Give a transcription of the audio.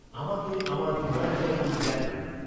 আমাকে আমার রিমাইন্ডারগুলি দেখান।